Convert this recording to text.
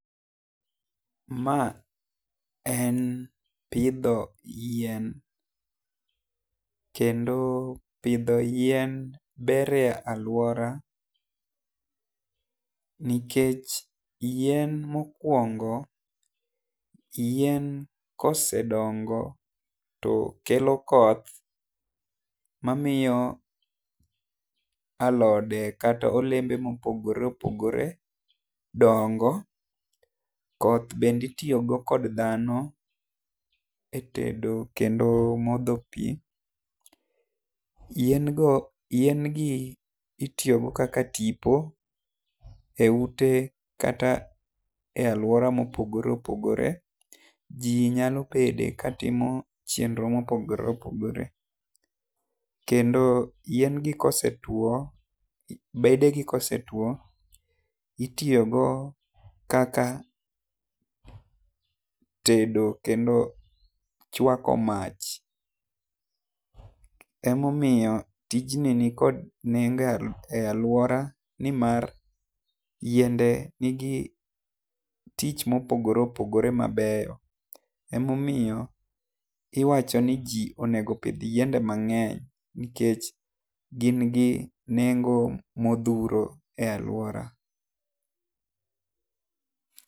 Ma en pidho yien kendo pidho yien ber e aluora nikech yien mokuongo yien kosedongo to kelo koth ma miyo alode kata olembe ma opogore opogore dongoo, koth bende itiyo go kod dhano e tedo kata modho pi. Yien go yien gi itiyo go kaka tipo e ute kata aluora ma opogore opogore ji kendo nyalo bedo go ka timo chenro ma opogore opogore. Yien gi ka osetwo, bede gi ka osetwo itiyo go kaka tedo kendo chwako mach ema omiyo tijni ni kode nengo e aluora ni mar yiende ni gi tich ma opogore opogore ma beyo. Ema omiyo iwacho ni ji onego opidh yiende mang'eny nikech gin gi nengo ma odhuro e aluora.